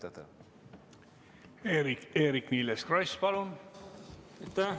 Eerik-Niiles Kross, palun!